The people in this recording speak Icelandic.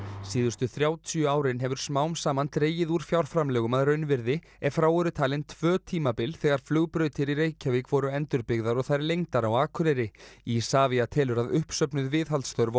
síðustu þrjátíu árin hefur smám saman dregið úr fjárframlögum að raunvirði ef frá eru talin tvö tímabil þegar flugbrautir í Reykjavík voru endurbyggðar og þær lengdar á Akureyri Isavia telur að uppsöfnuð viðhaldsþörf á